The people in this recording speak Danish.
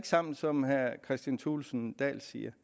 sammen som herre kristian thulesen dahl siger